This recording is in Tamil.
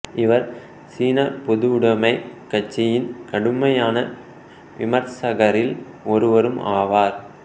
இவர் சீன பொதுவுடமைக் கட்சியின் கடுமையான விமர்சகரில் ஒருவரும் ஆவார்